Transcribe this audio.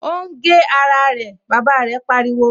O ń gé ara rẹ! Bàbá rẹ̀ pariwo